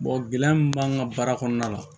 gɛlɛya min b'an ka baara kɔnɔna la